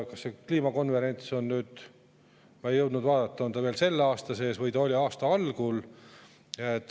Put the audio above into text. Kas see kliimakonverents on – ma ei jõudnud vaadata – veel selle aasta sees või oli see aasta algul?